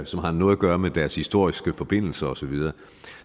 som har noget at gøre med deres historiske forbindelser osv